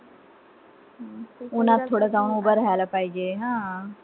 उन्हात थोडं जाऊन उभं राहायला पाहिजे. हा.